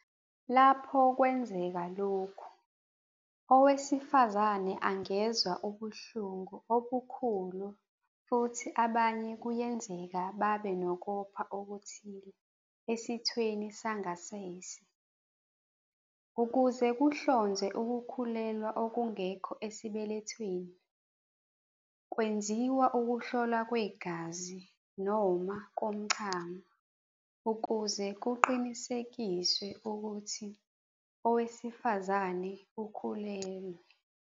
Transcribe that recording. Lapho kwenzeka lokhu, owesifazane angezwa ubuhlungu obukhulu futhi abanye kuyenzeka babe nokopha okuthile esithweni sangasese. Ukuze kuhlonzwe ukukhulelwa okungekho esibelethweni, kwenziwa ukuhlolwa kwegazi noma komchamo ukuze kuqinisekiswe ukuthi owesifazane ukhulelwe.